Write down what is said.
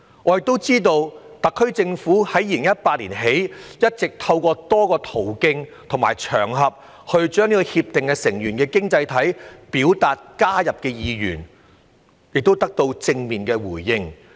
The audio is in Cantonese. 我也知道特區政府自2018年起，一直透過多個途徑和場合，向《協定》成員經濟體表達加入《協定》的意願，亦得到正面的回應。